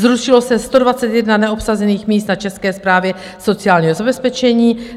Zrušilo se 121 neobsazených míst na České správě sociálního zabezpečení.